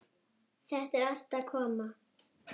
Þetta er allt að koma.